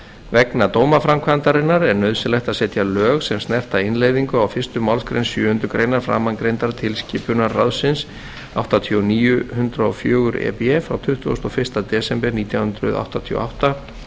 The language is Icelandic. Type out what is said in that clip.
vegna dómaframkvæmdarinnar er nauðsynlegt að setja lög sem snerta innleiðingu á fyrstu málsgrein sjöundu greinar framangreindrar tilskipunar ráðsins áttatíu og níu hundrað og fjögur e b frá tuttugasta og fyrsta desember nítján hundruð áttatíu og átta